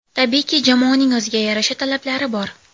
Tabiiyki, jamoaning o‘ziga yarasha talablari bor.